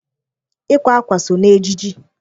Ịkwa akwa so n'ejiji.